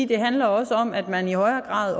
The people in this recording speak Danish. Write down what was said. det handler også om at man i højere grad